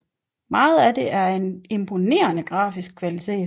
Meget af det er af en imponerende grafisk kvalitet